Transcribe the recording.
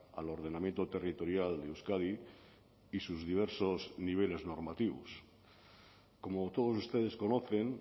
al ordenamiento territorial de euskadi y sus diversos niveles normativos como todos ustedes conocen